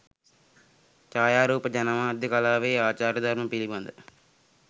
ජායාරූප ජනමාධ්‍ය කලාවේ ආචාර ධර්ම පිළිබඳ